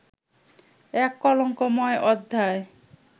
এক কলঙ্কময় অধ্যায়